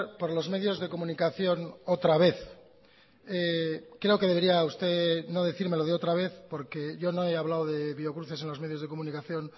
por los medios de comunicación otra vez creo que debería usted no decirme lo de otra vez porque yo no he hablado de biocruces en los medios de comunicación